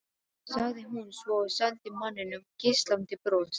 sagði hún svo og sendi manninum geislandi bros.